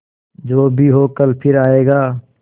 जो भी हो कल फिर आएगा